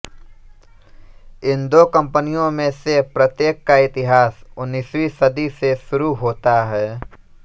इन दो कंपनियों में से प्रत्येक का इतिहास उन्नीसवीं सदी से शुरू होता है